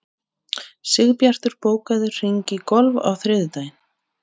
Sigbjartur, bókaðu hring í golf á þriðjudaginn.